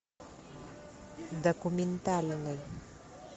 документальный